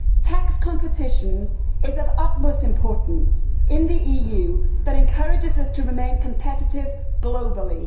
Tax competition is of utmost importance in the EU and it encourages us to remain competitive globally.